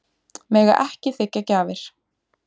Mega ekki þiggja gjafir